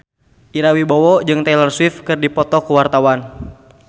Ira Wibowo jeung Taylor Swift keur dipoto ku wartawan